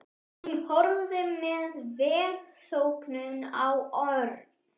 Hún horfði með velþóknun á Örn.